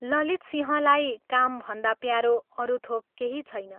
ललितसिंहलाई कामभन्दा प्यारो अरू थोक केही छैन।